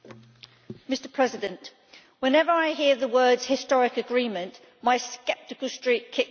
Mr President, whenever I hear the words historic agreement', my sceptical streak kicks in.